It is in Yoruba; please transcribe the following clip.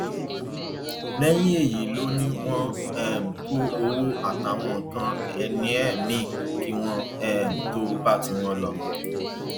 lẹyìn èyí ló ní wọn um kó owó àtàwọn nǹkan ìní ẹ mìín kí wọn um tóó bá tiwọn lò